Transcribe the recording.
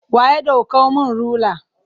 Wa ya ɗaukan mun rula?